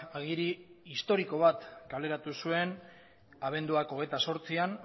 agiri historiko bat kaleratu zuen abenduak hogeita zortzian